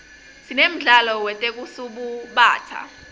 sinemdlalo wetekusubatsa